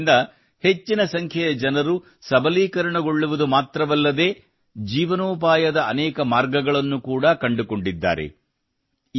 ಈ ಪ್ರಯತ್ನದಿಂದ ಹೆಚ್ಚಿನ ಸಂಖ್ಯೆಯ ಜನರು ಸಬಲೀಕರಣಗೊಳ್ಳುವುದು ಮಾತ್ರವಲ್ಲದೇ ಜೀವನೋಪಾಯದ ಅನೇಕ ಮಾರ್ಗಗಳನ್ನೂ ಕೂಡಾ ಕಂಡುಕೊಳ್ಳಲಾಗಿದೆ